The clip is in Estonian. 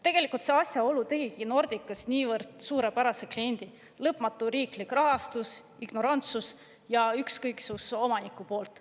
Tegelikult see asjaolu tegigi Nordicast niivõrd suurepärase kliendi: lõpmatu riiklik rahastus, ignorantsus ja ükskõiksus omaniku poolt.